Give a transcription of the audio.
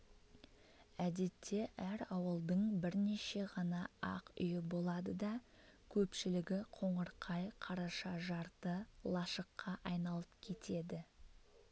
әдетте әр ауылдың бірнеше ғана ақ үйі болады да көпшілігі қоңырқай қараша жарты лашыққа айналып кетеді